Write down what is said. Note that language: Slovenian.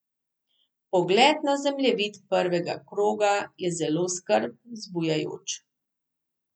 Pogled na zemljevid prvega kroga je zelo skrb zbujajoč.